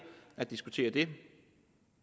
at diskutere det